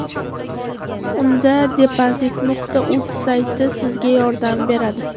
Unda, depozit.uz sayti sizga yordam beradi!